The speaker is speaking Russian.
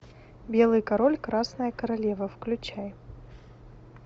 белый король красная королева включай